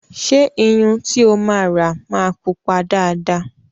Ṣé Iyun tí o máa rà máa pupa dáadáa?